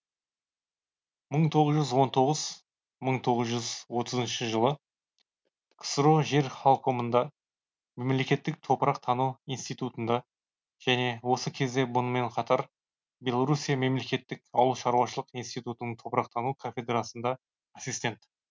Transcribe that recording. мың тоғыз жүз он тоғызын мың тоғыз жүз отызыншы жылы ксро жер халкомында мемлекеттік топырақ тану институтында және осы кезде мұнымен қатар белоруссия мемлекеттік ауыл шаруашылық институтының топырақтану кафедрасында ассистент